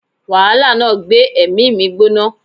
Wàhálà náà gbé èmí mi gbóná